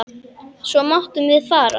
Svo máttum við fara.